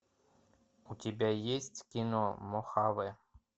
у тебя есть кино мохаве